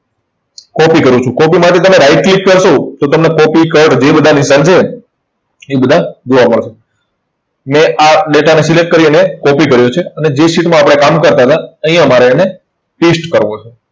copy કરું છું. Copy માટે તમે right click કરશો તો તમને copy, cut જે બધા નિશાન છે, તે બધા જોવા મળશે. મેં આ data ને select કરી અને copy કર્યો છે અને જે sheet માં આપણે કામ કરતા હતા અહીંયા મારે એને paste કરવો છે.